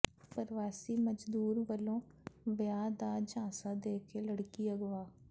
ਪਰਵਾਸੀ ਮਜ਼ਦੂਰ ਵੱਲੋਂ ਵਿਆਹ ਦਾ ਝਾਂਸਾ ਦੇ ਕੇ ਲੜਕੀ ਅਗਵਾ